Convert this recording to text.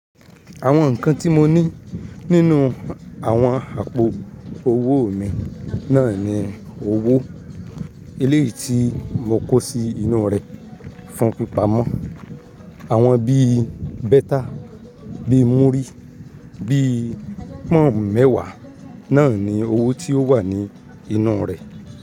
Àwọn nǹkan tí mo ní nínú àwọn àpò owó mi náà ni owó eléyìí tí mo kó sí inú rẹ̀ fún pípa mọ́. Àwọn bí bẹ́tà, bí múrí, bí pọ́n mẹ́wàá náà ni owó tí ó wà ní inú rẹ̀